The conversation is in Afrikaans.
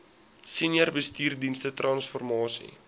senior bestuursdienste transformasie